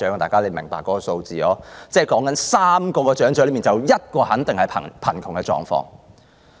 大家都明白這數字，指的是每3名長者便有1名肯定是貧窮。